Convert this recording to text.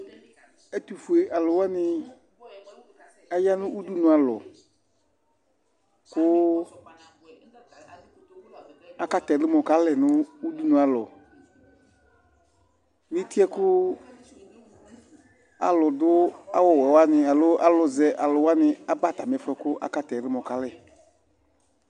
Ɛtʋfʋe aluwaŋi ataŋi ʋɖʋnu alɔ kʋ akatɛ ɛlumɔ kalɛ ŋu ʋɖʋnu alɔ ŋu itiɛ kʋ aluɖu awuwɛwaŋi ni aluzaluwaŋi aba atamifʋɛ kʋ akatɛ ɛlumɔ kalɛ